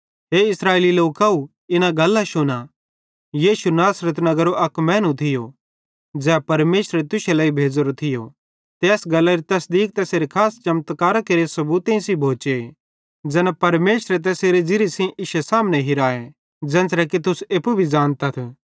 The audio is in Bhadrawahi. हे इस्राएलेरे लोकव इना गल्लां शुना यीशु नासरत नगरेरो अक मैनू थियो ज़ै परमेशर तुश्शे लेइ भेज़ोरो थियो ते एस गल्लारी तसदीक तैसेरे खास चमत्कारां केरे सबूतेईं सेइं भोचे ज़ैना परमेशरे तैसेरे ज़िरिये सेइं इश्शे सामने हिरां ज़ेन्च़रे कि तुस एप्पू भी ज़ानतथ